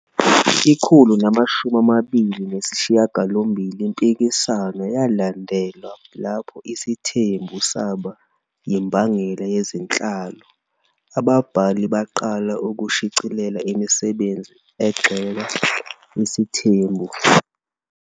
128 Impikiswano yalandelwa lapho isithembu saba yimbangela yezenhlalo, ababhali baqala ukushicilela imisebenzi egxeka isithembu.